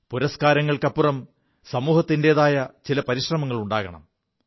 പുരസ്കാരങ്ങൾക്കുമപ്പുറം സമൂഹത്തിന്റെതായ ചില പരിശ്രമങ്ങൾ ഉണ്ടാകണം